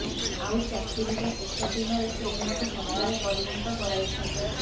ଆଉ ଚାକିରିର ଶେଷ ଦିନରେ ସେ ଏହାକୁ ସତରେ ପରିଣତ କରାଇଛନ୍ତି